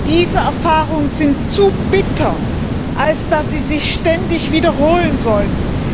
Diese Erfahrungen sind zu bitter, als dass sie sich ständig wiederholen sollten.